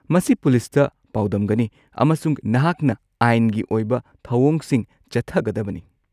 ꯃꯁꯤ ꯄꯨꯂꯤꯁꯇ ꯄꯥꯎꯗꯝꯒꯅꯤ, ꯑꯃꯁꯨꯡ ꯅꯍꯥꯛꯅ ꯑꯥꯏꯟꯒꯤ ꯑꯣꯏꯕ ꯊꯧꯑꯣꯡꯁꯤꯡ ꯆꯠꯊꯒꯗꯕꯅꯤ꯫